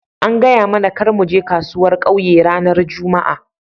An gaya mana kar mu je kasuwar ƙauye ranan jumma'a.